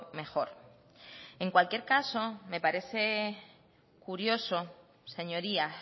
mejor en cualquier caso me parece curioso señorías